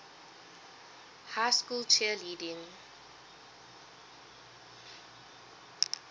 high school cheerleading